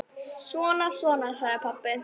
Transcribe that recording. Svona, svona, sagði pabbi.